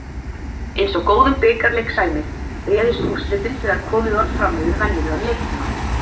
Eins og góðum bikarleik sæmir, réðust úrslitin þegar komið var fram yfir venjulegan leiktíma.